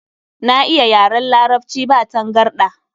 Na iya yaran Larabci ba tangarɗa.